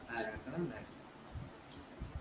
ആഹ് രണ്ടെണ്ണം ഉണ്ടായിരുന്നു